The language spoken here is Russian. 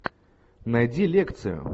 найди лекцию